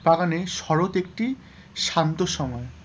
শরৎ একটি শান্ত সময়,